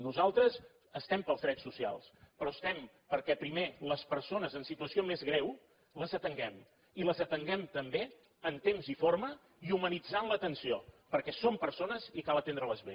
nosaltres estem pels drets socials però estem perquè primer les persones en situació més greu les atenguem i les atenguem també en temps i forma i humanitzant l’atenció perquè són persones i cal atendre les bé